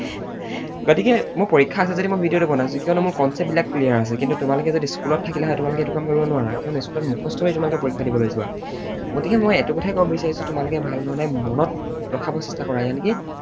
গতিকে মোৰ পৰীক্ষা আছে যদিও মই video টো বনাইছো কিয়নো মোৰ concept বিলাক clear আছে কিন্তু তোমালোক যদি school ত থাকিলা হয় তোমালোকে এইটো কাম কৰিব নোৱাৰা কিয়নো school ত মুখস্থ কৰি তোমালোকে পৰীক্ষা দিবলৈ যোৱা। গতিকে মই এইটো কথাই কব বিচাৰিছো তোমালোকে ভালধৰণে মনত ৰখাব চেষ্টা কৰা